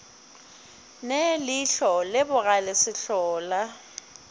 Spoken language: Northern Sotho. ne ihlo le bogale sehlola